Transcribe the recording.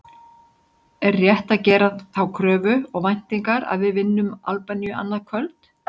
Er rétt að gera þá kröfu og væntingar að við vinnum Albaníu annað kvöld?